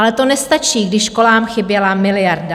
Ale to nestačí, když školám chyběla miliarda.